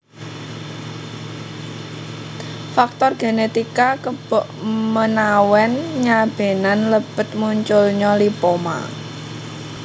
Faktor genetika kebokmenawen nyabenan lebet munculnya lipoma